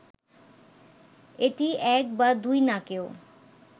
এটি এক বা দুই নাকেও